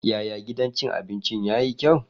Yaya gidan cin abinci yayi kyau?